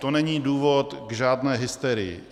To není důvod k žádné hysterii.